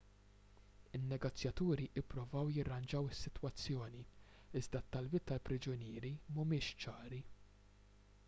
in-negozjaturi ppruvaw jirranġaw is-sitwazzjoni iżda t-talbiet tal-priġunieri mhumiex ċari